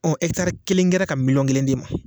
Ɔ ɛkitari kelen kɛra ka miliyɔn kelen d'e ma